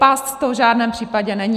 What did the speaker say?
Past to v žádném případě není.